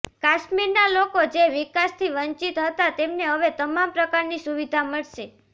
કાશ્મીરના લોકો જે વિકાસથી વંચિત હતા તેમને હવે તમામ પ્રકારની સુવિધા મળશે